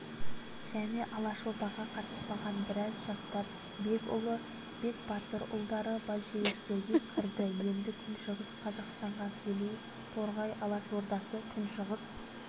және алашордаға қатыспаған біраз жастар бекұлы бекбатырұлдары большевиктерге кірді енді күншығыс қазақстанға келейік торғай алашордасы күншығыс